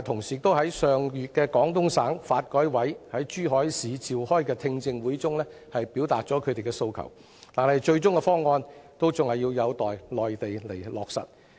業界上月在廣東省發展和改革委員會於珠海市召開的聽證會中表達了訴求，但最終的方案還有待內地落實。